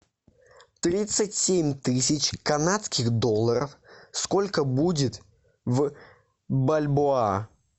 тридцать семь тысяч канадских долларов сколько будет в бальбоа